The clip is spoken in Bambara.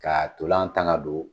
Ka ntolan tan ka don.